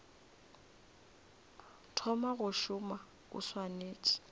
thoma go šoma o swanetše